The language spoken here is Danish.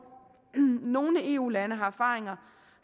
nogle eu lande har erfaringer